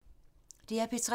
DR P3